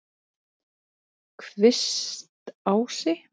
Kvistási